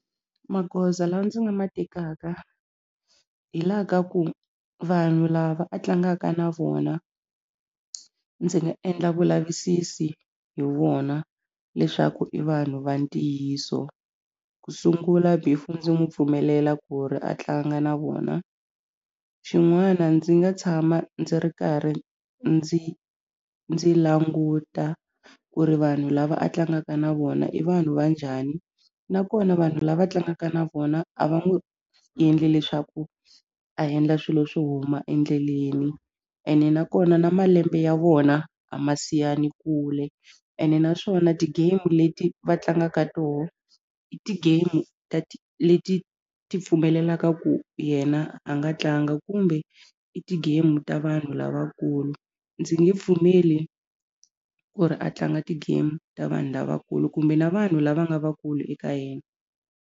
Magoza lawa ndzi nga ma tekaka hi la ka ku vanhu lava a tlangaka na vona ndzi nga endla vulavisisi hi vona leswaku i vanhu va ntiyiso ku sungula before ndzi n'wi pfumelela ku ri a tlanga na vona xin'wana ndzi nga tshama ndzi ri karhi ndzi ndzi languta ku ri vanhu lava a tlangaka na vona i vanhu va njhani nakona vanhu lava tlangaka na vona a va n'wi endli leswaku a endla swilo swo huma endleleni ene nakona na malembe ya vona a ma siyani kule ene naswona ti-game leti va tlangaka toho i ti-game leti ti pfumelelaka ku yena a nga tlanga kumbe i ti-game ta vanhu lavankulu ndzi nge pfumeli ku ri a tlanga ti-game ta vanhu lavankulu kumbe na vanhu lava nga vakulu eka yena.